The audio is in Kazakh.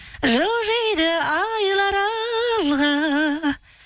жылжиды айлар алға